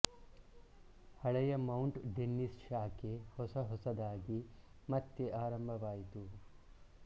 ಹಳೆಯ Mount Dennis ಶಾಖೆ ಹೊಸ ಹೊಸದಾಗಿ ಮತ್ತೆ ಆರಂಭವಾಯಿತು